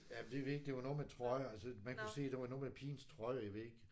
Ja men det er det det var noget med trøjer altså man kunne se der var noget med pigens trøje jeg ved ikke